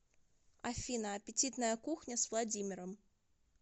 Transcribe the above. афина аппетитная кухня с владимиром